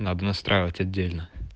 надо настраивать отдельно